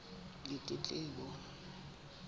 ditletlebo